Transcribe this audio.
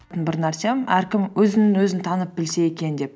бір нәрсем әркім өзін өзі танып білсе екен деп